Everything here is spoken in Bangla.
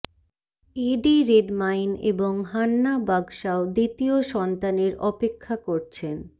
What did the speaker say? এডি রেডমাইন এবং হান্না বাগশাও দ্বিতীয় সন্তানের অপেক্ষা করছেন